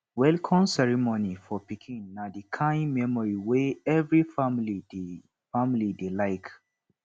welcome ceremony for pikin na di kind memory wey every family dey family dey like